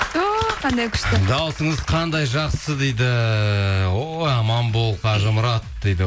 ту қандай күшті даусыңыз қандай жақсы дейді о аман бол қажымұрат дейді